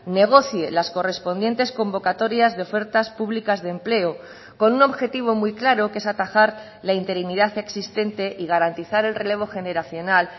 negocie las correspondientes convocatorias de ofertas públicas de empleo con un objetivo muy claro que es atajar la interinidad existente y garantizar el relevo generacional